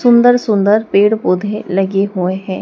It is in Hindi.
सुंदर सुंदर पेड़ पौधे लगे हुए हैं।